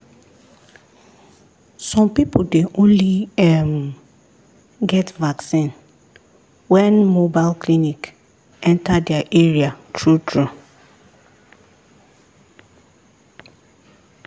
some people dey only um get vaccine when mobile clinic enter their area true true.